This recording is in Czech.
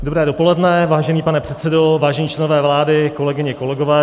Dobré dopoledne, vážený pane předsedo, vážení členové vlády, kolegyně, kolegové.